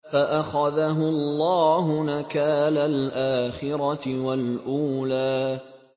فَأَخَذَهُ اللَّهُ نَكَالَ الْآخِرَةِ وَالْأُولَىٰ